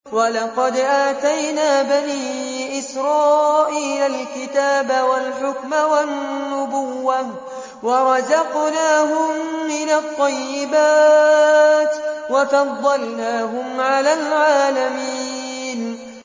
وَلَقَدْ آتَيْنَا بَنِي إِسْرَائِيلَ الْكِتَابَ وَالْحُكْمَ وَالنُّبُوَّةَ وَرَزَقْنَاهُم مِّنَ الطَّيِّبَاتِ وَفَضَّلْنَاهُمْ عَلَى الْعَالَمِينَ